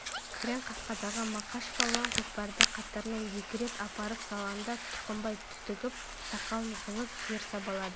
күрең қасқадағы мақаш палуан көкпарды қатарынан екі рет апарып салғанда тұқымбай түтігіп сақалын жұлып жер сабалады